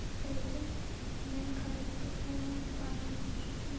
இப்பொழுது மெல்காவிற்கு போலந்துப் பாராளுமன்றத்தின்